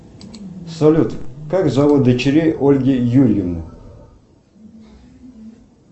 салют как зовут дочерей ольги юрьевны